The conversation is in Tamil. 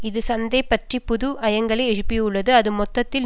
இது சந்தை பற்றி புது ஐயங்களை எழுப்பியுள்ளது அது மொத்தத்தில்